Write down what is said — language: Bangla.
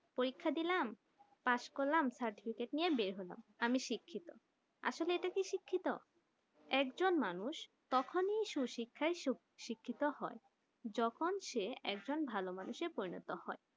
পরীক্ষা দিলাম পাস করলাম certificate নিয়ে বেড় হলাম আমি শিক্ষিত আসলে কি ইটা শিক্ষিত একেকজন মানুষ তখনি সুশিক্ষা শিক্ষিত হয় যখন যে একজন ভালো মানুষে পরিণত হয়